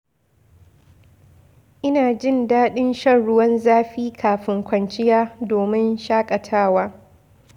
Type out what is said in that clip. Ina jin daɗin shan ruwan zafi kafin kwanciya domin shaƙatawa.